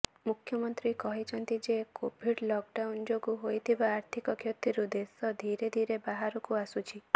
ମୁଖ୍ୟମନ୍ତ୍ରୀ କହିଛନ୍ତି ଯେ କୋଭିଡ ଲକଡାଉନ ଯୋଗୁ ହୋଇଥିବା ଆର୍ଥିକ କ୍ଷତିରୁ ଦେଶ ଧିରେ ଧିରେ ବାହାରକୁ ଆସୁଛି